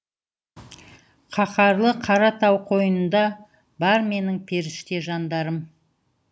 қаһарлы қара тау қойнында бар менің періште жандарым